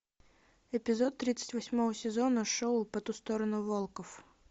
эпизод тридцать восьмого сезона шоу по ту сторону волков